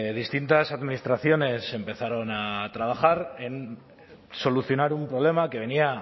distintas administraciones empezaron a trabajar en solucionar un problema que venía